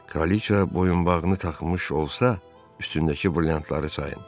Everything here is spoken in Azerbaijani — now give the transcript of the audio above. Kraliça boyunbağını taxmış olsa, üstündəki brilliantları sayın.